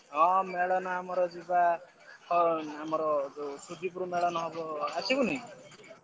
ହଁ ମେଳଣ ଆମର ଯିବା ହଁ ଆମର ଶୁଧିପୁର ମେଳଣ ହବ ଆସିବୁନି?